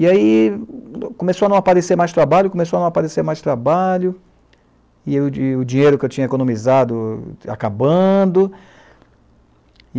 E aí, começou a não aparecer mais trabalho, começou a não aparecer mais trabalho, e o o dinheiro que eu tinha economizado acabando.